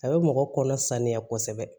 A bɛ mɔgɔ kɔnɔ saniya kosɛbɛ